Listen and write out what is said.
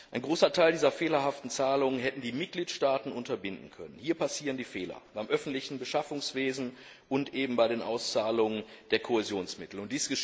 Einen großen Teil dieser fehlerhaften Zahlungen hätten die Mitgliedstaaten unterbinden können. Hier passieren die Fehler beim öffentlichen Beschaffungswesen und bei den Auszahlungen der Kohäsionsmittel.